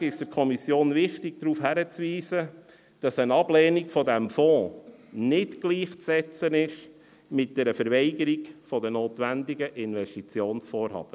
Vorweg ist es der Kommission wichtig, darauf hinzuweisen, dass eine Ablehnung dieses Fonds nicht gleichzusetzen ist mit einer Verweigerung der notwendigen Investitionsvorhaben.